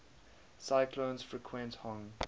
cyclones frequent hong